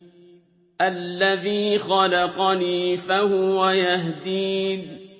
الَّذِي خَلَقَنِي فَهُوَ يَهْدِينِ